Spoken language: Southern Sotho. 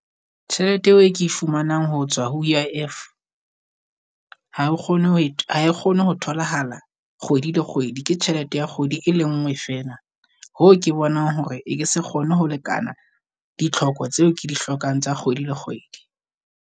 Tjhelete eo e ke e fumanang ho tswa ho I_I_F, ha o kgone ho e ha e kgone tholahala kgwedi le kgwedi ke tjhelete ya kgwedi e le ngwe feela. Hoo ke bonang hore e ke se kgone ho lekana ditlhoko tseo ke di hlokang tsa kgwedi le kgwedi.